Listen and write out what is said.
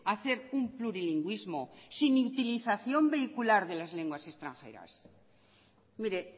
hacer un plurilingüismo sin utilización vehicular de las lenguas extranjeras mire